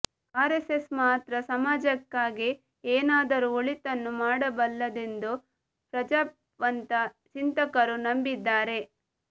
RSS ಮಾತ್ರ ಸಮಾಜಕ್ಕಾಗಿ ಏನಾದರೂ ಒಳಿತನ್ನು ಮಾಡಬಲ್ಲುದೆಂದು ಪ್ರಜ್ಞಾವಂತ ಚಿಂತಕರು ನಂಬಿದ್ದಾರೆ